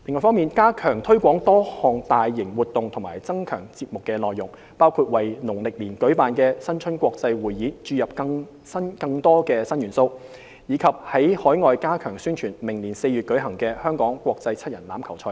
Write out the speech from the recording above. ―加強推廣多項大型活動或增強節目內容，包括為農曆年舉辦的新春國際匯演注入更多新元素，以及在海外加強宣傳明年4月舉行的香港國際七人欖球賽等。